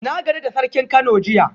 Na gana da Sarkin Kano jiya